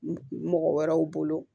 Mɔgɔ wɛrɛw bolo